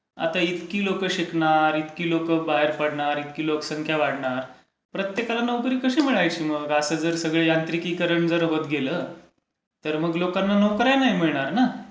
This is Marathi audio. आता इतकी लोकं शिकणार, इतकी लोकं बाहेर पडणार, इतकी लोकसंख्या वाढणार. प्रत्येकाला नोकरी कशी मिळायची मग. असं जस सगळं यांत्रिकीकरण होत गेलं तर मग लोकांना नोकर् या नाही मिळणार ना.